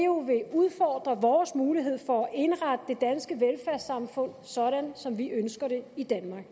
udfordre vores mulighed for at indrette det danske velfærdssamfund sådan som vi ønsker det i danmark